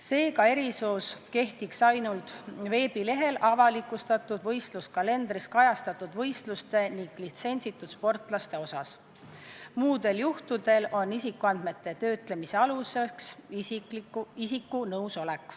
Seega, erisus kehtiks ainult veebilehel avalikustatud võistluskalendris kajastatud võistluste ning litsentsitud sportlaste osas, muudel juhtudel on isikuandmete töötlemise aluseks isiku nõusolek.